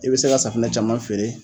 I bɛ se ka safinɛ caman feere.